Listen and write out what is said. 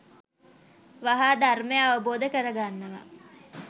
වහා ධර්මය අවබෝධ කරගන්නවා.